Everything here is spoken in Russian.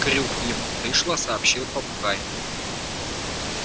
крюк ему в дышло сообщил попугай